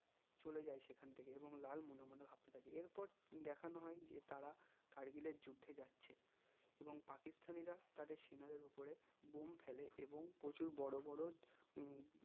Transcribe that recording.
চলে যাই সেখান থেকে এবং লাল মনে মনে ভাবতে থাকে এরপর দেখানো হয় যে তারা কার্গিলের যুদ্ধে যাচ্ছে এবং পাকিস্তানী রা তাদের সেনাদের ওপরে বোম ফেলে এবং প্রচুর বড়ো বড়ো উহ